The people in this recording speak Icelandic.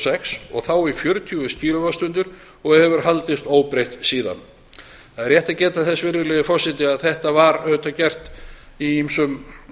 sex og þá í fjörutíu þúsund kíló vattstundir og hefur haldist óbreytt síðan það er rétt að geta þess virðulegi forseti að þetta var auðvitað gert í ýmsum